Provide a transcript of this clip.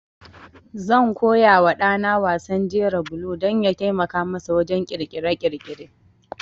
Zan koya wa ɗa na wasan jera bulo don ya taimaka masa wajen ƙirƙire-ƙirƙire.